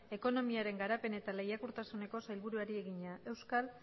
ekonomiaren garapen eta lehiakortasuneko sailburuari egina euskal